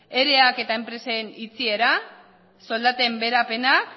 ereak eta enpresen itxiera soldaten beherapenak